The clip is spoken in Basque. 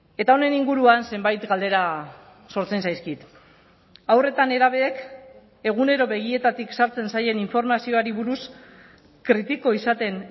eta honen inguruan zenbait galdera sortzen zaizkit haur eta nerabeek egunero begietatik sartzen zaien informazioari buruz kritiko izaten